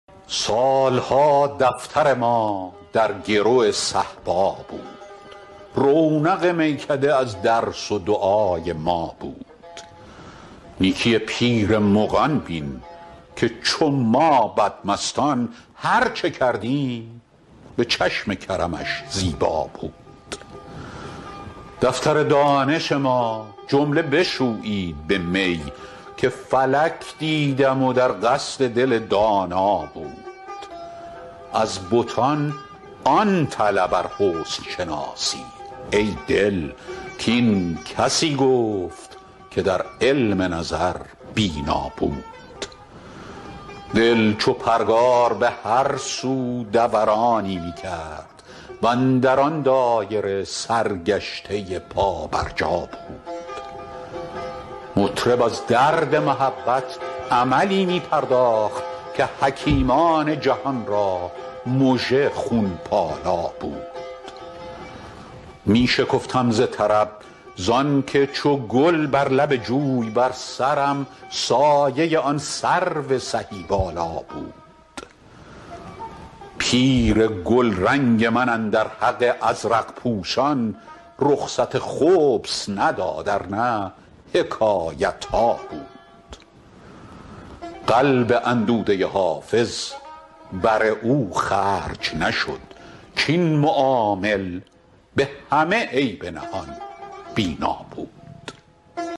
سال ها دفتر ما در گرو صهبا بود رونق میکده از درس و دعای ما بود نیکی پیر مغان بین که چو ما بدمستان هر چه کردیم به چشم کرمش زیبا بود دفتر دانش ما جمله بشویید به می که فلک دیدم و در قصد دل دانا بود از بتان آن طلب ار حسن شناسی ای دل کاین کسی گفت که در علم نظر بینا بود دل چو پرگار به هر سو دورانی می کرد و اندر آن دایره سرگشته پابرجا بود مطرب از درد محبت عملی می پرداخت که حکیمان جهان را مژه خون پالا بود می شکفتم ز طرب زان که چو گل بر لب جوی بر سرم سایه آن سرو سهی بالا بود پیر گلرنگ من اندر حق ازرق پوشان رخصت خبث نداد ار نه حکایت ها بود قلب اندوده حافظ بر او خرج نشد کاین معامل به همه عیب نهان بینا بود